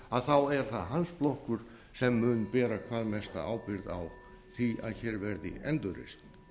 hruninu er það hans flokkur sem mun bera hvað mesta ábyrgð á því að hér verði endurreisn